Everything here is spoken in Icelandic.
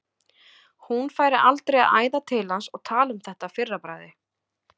Hún færi aldrei að æða til hans og tala um þetta að fyrra bragði.